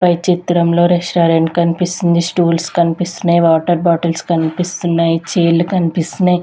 పై చిత్రంలో రెస్టారెంట్ కనిపిస్తుంది స్టూల్స్ కనిపిస్తున్నాయి వాటర్ బాటిల్స్ కనిపిస్తున్నాయి చైర్లు కనిపిస్తున్నాయి.